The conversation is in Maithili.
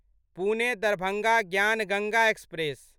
पुने दरभंगा ज्ञान गंगा एक्सप्रेस